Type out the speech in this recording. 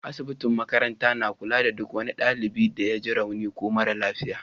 Asibitin makarantar na kula da duk wani dalibi da ya ji rauni ko mara lafiya.